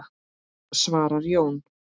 svarar Jón.